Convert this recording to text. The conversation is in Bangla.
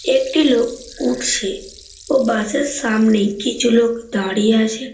একটি লোক উঠছে। ও বাস এর সামনেই কিছু লোক দাঁড়িয়ে আছে।